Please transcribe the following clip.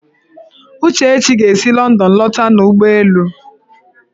Uchechi ga-esi Lọndọn lọta n'ụgbọelu